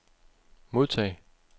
modtag